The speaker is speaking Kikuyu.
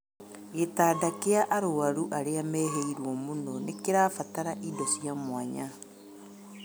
Gĩtanda kĩa arwaru arĩa mehĩirwo mũno nĩkĩrabatara indo cia mwanya